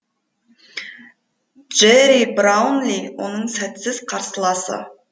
джерри браунли оның сәтсіз қарсыласы